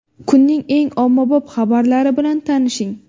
Kunning eng ommabop xabarlari bilan tanishing.